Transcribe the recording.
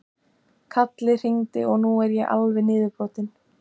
Kalli hringdi og nú er ég alveg niðurbrotinn.